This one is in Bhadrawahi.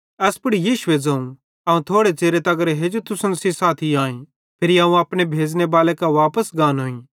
एस पुड़ यीशुए ज़ोवं अवं थोड़े च़िरे तगर हेजू तुसन साथी आईं फिरी अवं अपने भेज़ने बाले कां वापस गानोईं